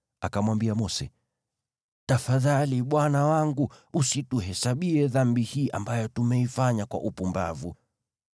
Kisha Aroni akamwambia Mose, “Tafadhali, bwana wangu, usituhesabie dhambi hii ambayo tumeifanya kwa upumbavu.